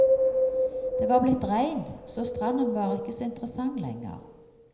Det var blitt regn, så stranden var ikke så interessant lenger.